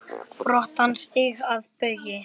brattan stíg að baugi